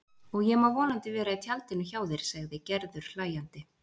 Og ég má vonandi vera í tjaldinu hjá þér sagði Gerður hlæjandi.